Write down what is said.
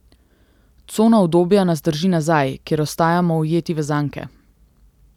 Cona udobja nas drži nazaj, kjer ostajamo ujeti v zanke.